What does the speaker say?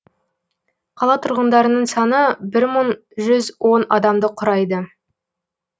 қала тұрғындарының саны бір мың жүз он адамды құрайды